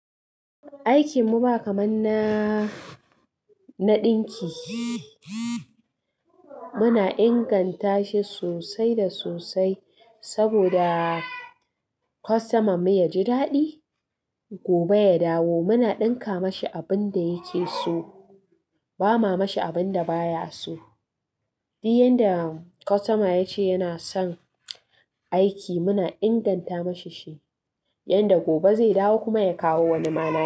Aikin mu ba kamar na na ɗinki. Muna inganta shi sosai da sosai saboda kostoma mu ya ji daɗi gobe ya dawo. Muna ɗinka mashi abin da yake so, ba ma mashi abin da baya so. Duk yanda kostoma ya ce yana son aiki muna inganta mashi shi yanda gobe zai dawo kuma ya kawo wani ma nashi.